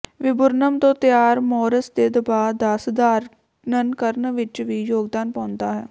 viburnum ਤੋਂ ਤਿਆਰ ਮੌਰਸ ਦੇ ਦਬਾਅ ਦਾ ਸਧਾਰਨਕਰਨ ਵਿੱਚ ਵੀ ਯੋਗਦਾਨ ਪਾਉਂਦਾ ਹੈ